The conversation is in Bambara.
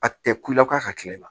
A tɛ kula k'a ka tile la